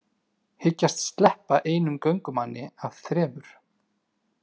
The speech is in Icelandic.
Hyggjast sleppa einum göngumanni af þremur